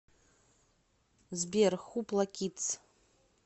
сбер хупла кидс